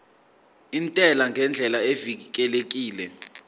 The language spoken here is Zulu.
intela ngendlela evikelekile